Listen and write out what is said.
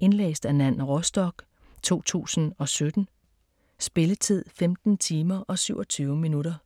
Indlæst af Nan Rostock, 2017. Spilletid: 15 timer, 27 minutter.